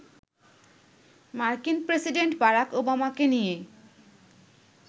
মার্কিন president Barack ওবামাকে নিয়ে